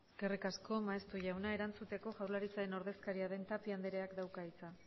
eskerrik asko maeztu jauna erantzuteko jauarlaritzaren ordezkaria den tapia andereak dauka hitza